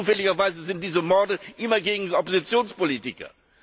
Und zufälligerweise richten sich diese Morde immer gegen Oppositionspolitiker.